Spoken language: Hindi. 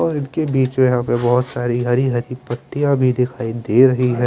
और जो हैं इनके बीच हरी हरी पत्तियाँ भी दिखाई दे रही हैं।